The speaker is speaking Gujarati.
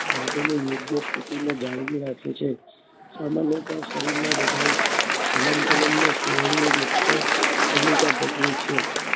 ભાગોનેયોગ્ય સ્થિતિમાં જાણવી રાખે છે સામાન્ય શરીરના બધાજ હલનચનમાં સ્નાયુઓ મુખ્ય ભૂમિકા ભજવે છે